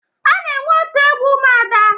A na-enwe otu egwu ụmụada.